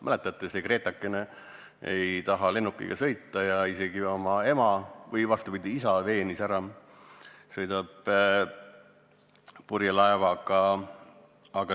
Mäletate, see Gretakene ei taha lennukiga sõita ja isegi oma isa veenis ära, et sõidab purjelaevaga.